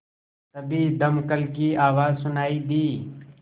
तभी दमकल की आवाज़ सुनाई दी